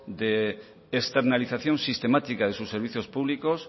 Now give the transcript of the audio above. de externalización sistemática de sus servicios públicos